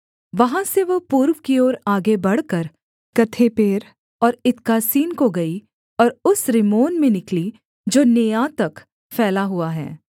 वहाँ से वह पूर्व की ओर आगे बढ़कर गथेपेर और इत्कासीन को गई और उस रिम्मोन में निकली जो नेआ तक फैला हुआ है